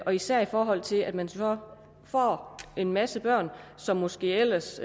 og især i forhold til at man så får en masse børn som måske ellers